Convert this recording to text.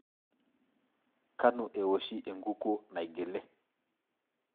Kanu ewoshi enkukuo naigili?